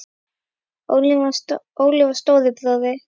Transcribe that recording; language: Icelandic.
Óli var stóri bróðir.